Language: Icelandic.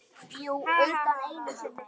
Jú, utan einu sinni.